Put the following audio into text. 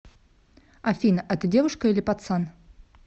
афина а ты девушка или пацан